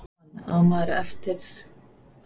Jóhann: Á maður eftir sjá einhverja vegatolla í þessu?